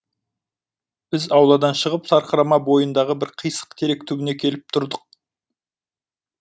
біз ауладан шығып сарқырама бойындағы бір қисық терек түбіне келіп тұрдық